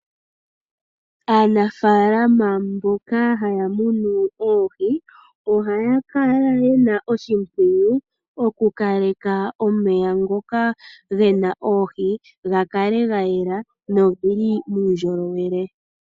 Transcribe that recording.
Aanafalama mboka haya munu oohi oha ya kala ye na oshimpwiyu okukaleka omeya ngoka ge na oohi ga kale ga yela noge li muundjolowele.